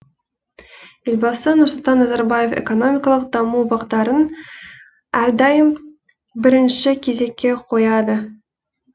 елбасы нұрсұлтан назарбаев экономикалық даму бағдарын әрдайым бірінші кезекке қояды